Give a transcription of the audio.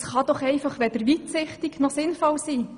Das kann doch weder weitsichtig noch sinnvoll sein!